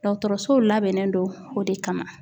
Dɔgɔtɔrɔsow labɛnnen don o de kama